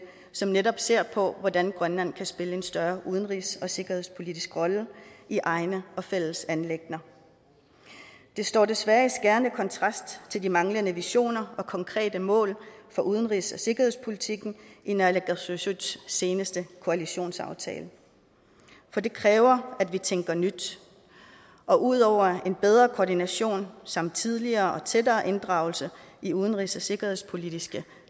som netop ser på hvordan grønland kan spille en større udenrigs og sikkerhedspolitisk rolle i egne og fælles anliggender det står desværre i skærende kontrast til de manglende visioner og konkrete mål for udenrigs og sikkerhedspolitikken i naalakkersuisuts seneste koalitionsaftale for det kræver at vi tænker nyt og ud over en bedre koordination samt tidligere og tættere inddragelse i udenrigs og sikkerhedspolitiske